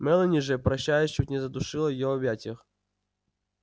мелани же прощаясь чуть не задушила её в объятиях